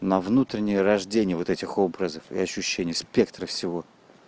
на внутреннее рождение вот этих образов и ощущений спектра всего